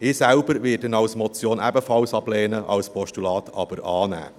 Ich selbst werde ihn als Motion ebenfalls ablehnen, als Postulat aber annehmen.